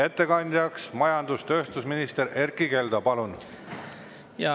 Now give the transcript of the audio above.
Ettekandja majandus‑ ja tööstusminister Erkki Keldo, palun!